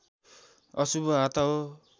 अशुभ हाता हो